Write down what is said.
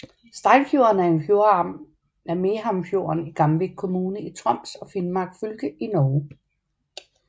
Steinfjorden er en fjordarm af Mehamnfjorden i Gamvik kommune i Troms og Finnmark fylke i Norge